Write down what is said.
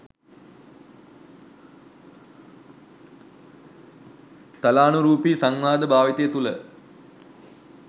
තාලානුරූපී සංවාද භාවිතය තුළ